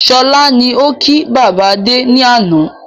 Sọlá ni ó ki bàbá Adé ni àná